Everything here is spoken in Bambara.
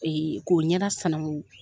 k'o ɲɛda sanango.